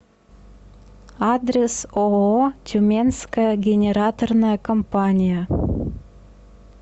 адрес ооо тюменская генераторная компания